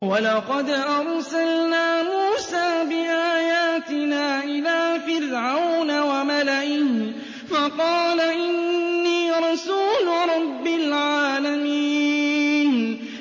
وَلَقَدْ أَرْسَلْنَا مُوسَىٰ بِآيَاتِنَا إِلَىٰ فِرْعَوْنَ وَمَلَئِهِ فَقَالَ إِنِّي رَسُولُ رَبِّ الْعَالَمِينَ